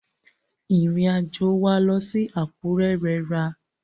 Ìrìn àjò wa lọ sí Àkúrẹ́ rẹra.